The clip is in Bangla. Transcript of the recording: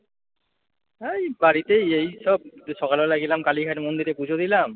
এই বাড়িতেই এইসব সকালবেলা গেলাম কালীঘাট মন্দিরে পুজো দিলাম।